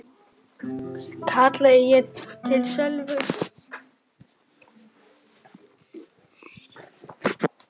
kallaði ég til Sölva.